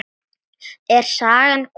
Er sagan komin?